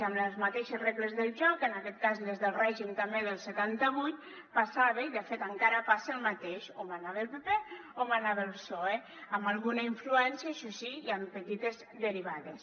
amb les mateixes regles del joc en aquest cas les del règim també del setanta vuit passava i de fet encara passa el mateix o manava el pp o manava el psoe amb alguna influència això sí i amb petites derivades